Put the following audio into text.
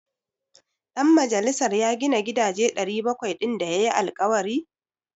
Dan majalisar ya gina gidaje 700 din da ya yi alkawari?